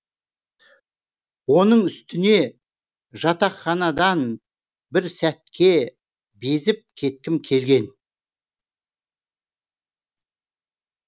оның үстіне жатақханадан бір сәтке безіп кеткім келген